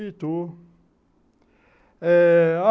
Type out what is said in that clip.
Itu, eh...